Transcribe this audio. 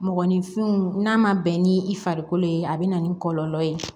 Mɔgɔninfinw n'a ma bɛn ni i farikolo ye a bɛ na ni kɔlɔlɔ ye